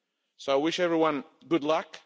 So I wish everyone good luck.